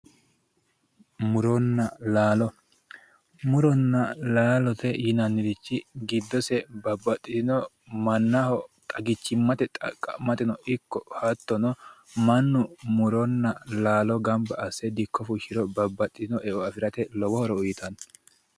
muronna laalo muronna laalote yinannirichi giddose babbaxitinno mannaho xagichimmate xaqqa'mateno ikko hattono mannu muronna laalo gamba asse dikko fushshiro babbaxitinno eo afirate lowo horo uyitanno